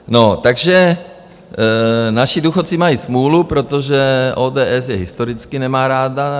No, takže naši důchodci mají smůlu, protože ODS je historicky nemá ráda.